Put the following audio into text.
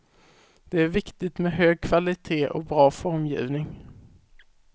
Det är viktigt med hög kvalitet och bra formgivning.